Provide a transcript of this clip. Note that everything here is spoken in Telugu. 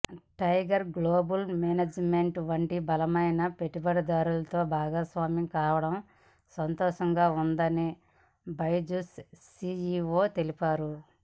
టైగర్ గ్లోబల్ మేనేజ్మెంట్ వంటి బలమైన పెట్టుబడిదారుడితో భాగస్వామ్యం కావడం సంతోషంగా ఉందని బైజూస్ సీఈవో తెలిపారు